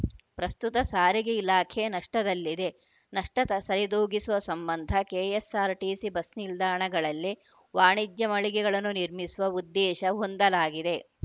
ಪ್ರಸ್ತುತ ಸಾರಿಗೆ ಇಲಾಖೆ ನಷ್ಟದಲ್ಲಿದೆ ನಷ್ಟ ತ ಸರಿದೂಗಿಸುವ ಸಂಬಂಧ ಕೆಎಸ್‌ಆರ್‌ಟಿಸಿ ಬಸ್‌ ನಿಲ್ದಾಣಗಳಲ್ಲಿ ವಾಣಿಜ್ಯ ಮಳಿಗೆಗಳನ್ನು ನಿರ್ಮಿಸುವ ಉದ್ದೇಶ ಹೊಂದಲಾಗಿದೆ